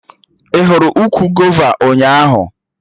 Ị hụrụ ukwu gova ụnyaahụ?